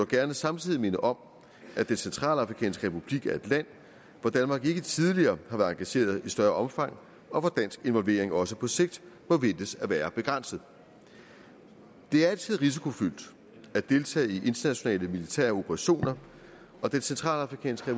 gerne samtidig minde om at den centralafrikanske republik er et land hvor danmark ikke tidligere har været engageret i større omfang og hvor dansk involvering også på sigt må ventes at være begrænset det er altid risikofyldt at deltage i internationale militære operationer og den centralafrikanske